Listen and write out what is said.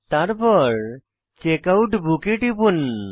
তারপর checkout book এ টিপুন